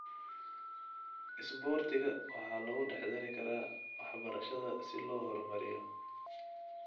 Isboortiga waxaa lagu dhex dari karaa waxbarashada si loo horumariyo.